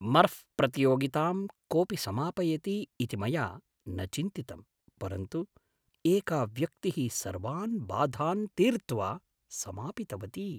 मर्ऴ् प्रतियोगितां कोपि समापयति इति मया न चिन्तितं, परन्तु एका व्यक्तिः सर्वान् बाधान् तीर्त्वा समापितवती।